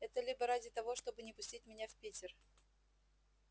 это либо ради того чтобы не пустить меня в питер